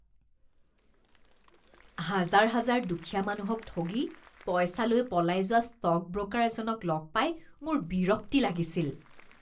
হাজাৰ হাজাৰ দুখীয়া মানুহক ঠগি পইচা লৈ পলাই যোৱা ষ্টক ব্ৰকাৰ এজনক লগ পাই মোৰ বিৰক্তি লাগিছিল।